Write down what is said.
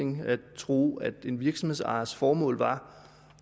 tro at en virksomhedsejers formål